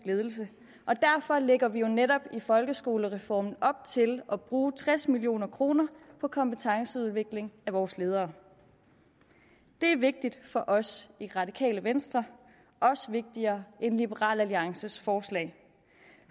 ledelse og derfor lægger vi jo netop i folkeskolereformen op til at bruge tres million kroner på kompetenceudvikling af vores ledere det er vigtigt for os i radikale venstre også vigtigere end liberal alliances forslag